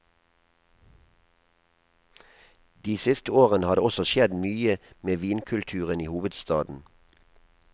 De siste årene har det også skjedd mye med vinkulturen i hovedstaden.